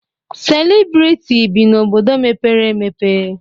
Selịbriti bi n'obodo mepere emepe